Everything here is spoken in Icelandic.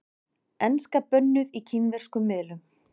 Enska bönnuð í kínverskum miðlum